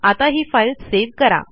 आता ही file save करा